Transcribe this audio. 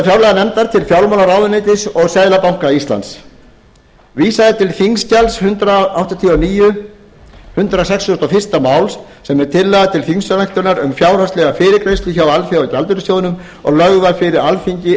hluta fjárlaganefnd til fjármálaráðuneytis og seðlabanka íslands vísað er til þingskjals hundrað áttatíu og níu hundrað sextugasta og fyrsta máls sem er tillaga til þingsályktunar um fjárhagslega fyrirgreiðslu hjá alþjóðagjaldeyrissjóðnum og lögð var fyrir alþingi